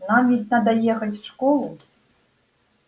нам ведь надо ехать в школу